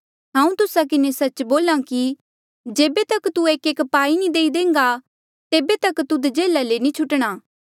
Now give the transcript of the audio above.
हांऊँ तुस्सा किन्हें सच्च बोल्हा कि जेबे तक तू एकएक पाई नी देई देह्न्गा तेबे तक तुध जेल्हा ले नी छुटणा